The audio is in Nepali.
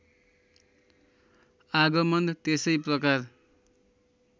आगमन त्यसै प्रकार